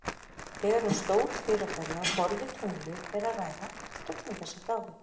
Þegar um stór fyrirbæri á borð við tunglið er að ræða, dofna þessi frávik.